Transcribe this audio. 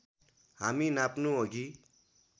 हामी नाप्नु अघि